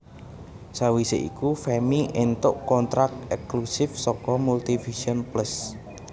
Sawise iku Femmy éntuk kontrak ekslusif saka Multivision Plus